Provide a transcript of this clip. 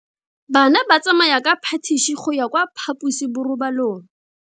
Bana ba tsamaya ka phašitshe go ya kwa phaposiborobalong.